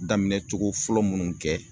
Daminɛ cogo fɔlɔ munnu kɛ